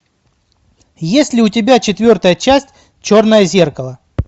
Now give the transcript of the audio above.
есть ли у тебя четвертая часть черное зеркало